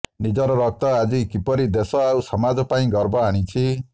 ନିଜର ରକ୍ତ ଆଜି କିପରି ଦେଶ ଆଉ ସମାଜ ପାଇଁ ଗର୍ବ ଆଣିଛି